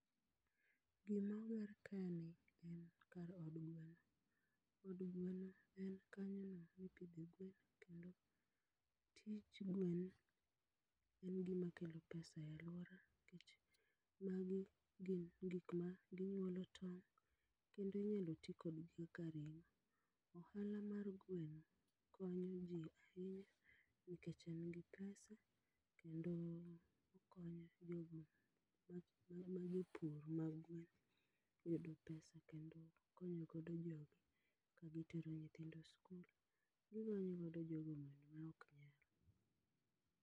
Gima oger kae ni en kar od gweno. Od gweno en kanyono ma ipidhe gwen kendo tich gwen en gima kelo pesa e alwora, nikech magi gin gik ma ginyuolo tong' kendo inyalo ti kodgi kaka ring'o. Ohala mar gweno konyo ji ahinya nikech en gi pesa kendo okonyo jogo ma ma jopur mag gwen e yudo pesa kendo konyo godo jogi, ka gitero nyithindo e sikul, giokonyo godo jogo bende ma ok nyal.